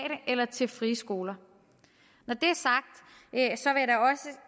eller til frie skoler når det